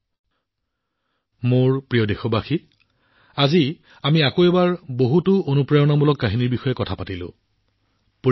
মোৰ মৰমৰ দেশবাসীসকল আজি আপোনালোক আৰু মই একেলগে যোগদান কৰিছো আৰু আকৌ এবাৰ বহুতো অনুপ্ৰেৰণামূলক বিষয়ৰ বিষয়ে কথা পাতিছো